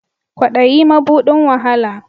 Ƙwaɗayi maɓuɗin wa hala.